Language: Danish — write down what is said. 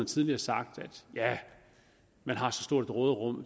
tidligere sagt at man har så stort et råderum